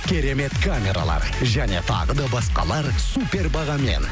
керемет камералар және тағы да басқалар супер бағамен